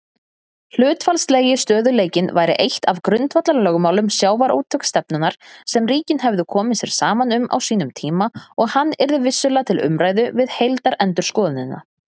Hlutfallslegi stöðugleikinn væri eitt af grundvallarlögmálum sjávarútvegsstefnunnar sem ríkin hefðu komið sér saman um á sínum tíma og hann yrði vissulega til umræðu við heildarendurskoðunina.